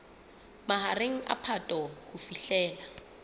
mahareng a phato ho fihlela